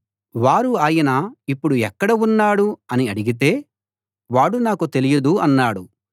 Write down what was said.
వారు ఆయన ఇప్పుడు ఎక్కడ ఉన్నాడు అని అడిగితే వాడు నాకు తెలియదు అన్నాడు